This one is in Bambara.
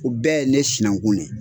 U bɛɛ ye ne sinankun ye.